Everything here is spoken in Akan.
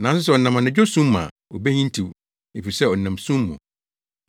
Nanso sɛ ɔnam anadwo sum mu a obehintiw, efisɛ ɔnam sum mu.”